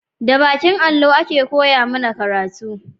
Da bakin allo a ke koya mana karatu